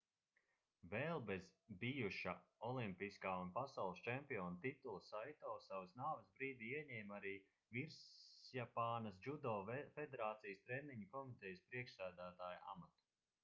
vēl bez bijuša olimpiskā un pasaules čempiona titula saito savas nāves brīdī ieņēma arī visjapānas džudo federācijas treniņu komitejas priekšsēdētāja amatu